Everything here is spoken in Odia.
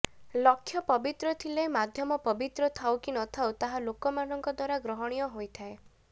ଲକ୍ଷ୍ୟ ପବିତ୍ର ଥିଲେ ମାଧ୍ୟମ ପବିତ୍ର ଥାଉ କି ନ ଥାଉ ତାହା ଲୋକମାନଙ୍କ ଦ୍ୱାରା ଗ୍ରହଣୀୟ ହୋଇଥାଏ